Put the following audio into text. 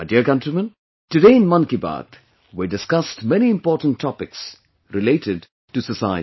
My dear countrymen, today in 'Mann Ki Baat' we discussed many important topics related to society